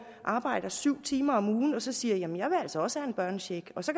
arbejder syv timer om ugen og så siger jamen jeg vil altså også have en børnecheck og så